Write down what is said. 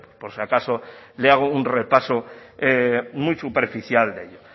por si acaso le hago un repaso muy superficial de ello